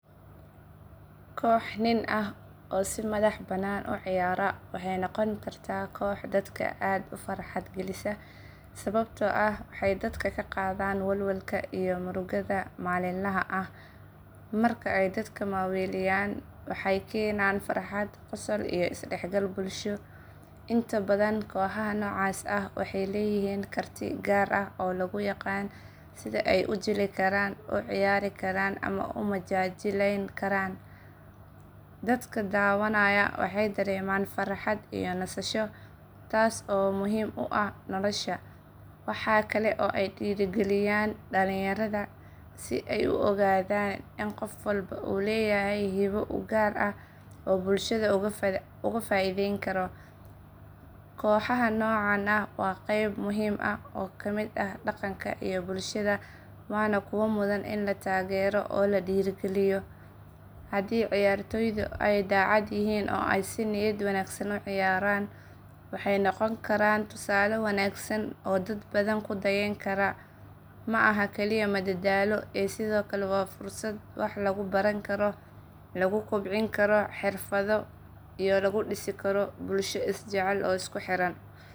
Koox nin ah oo si madax bannaan u ciyaara waxay noqon kartaa koox dadka aad u farxad gelisa, sababtoo ah waxay dadka ka qaadaan walwalka iyo murugada maalinlaha ah. Marka ay dadka maaweeliyaan, waxay keenaan farxad, qosol, iyo isdhexgal bulsho. Inta badan kooxaha noocaas ah waxay leeyihiin karti gaar ah oo lagu yaqaan sida ay u jili karaan, u ciyaari karaan, ama u majaajilayn karaan. Dadka daawanaya waxay dareemaan farxad iyo nasasho, taas oo muhiim u ah nolosha. Waxa kale oo ay dhiirrigeliyaan dhalinyarada si ay u ogaadaan in qof walba uu leeyahay hibo u gaar ah oo uu bulshada uga faa’iideyn karo. Kooxaha noocaan ah waa qayb muhiim ah oo ka mid ah dhaqanka iyo bulshada waana kuwo mudan in la taageero oo la dhiirrigeliyo. Haddii ciyaartoydu ay daacad yihiin oo ay si niyad wanaagsan u ciyaaraan, waxay noqon karaan tusaale wanaagsan oo dad badan ku dayan karaan. Ma aha kaliya madadaalo ee sidoo kale waa fursad wax lagu baran karo, lagu kobcin karo xirfado iyo lagu dhisi karo bulsho isjecel oo isku xiran.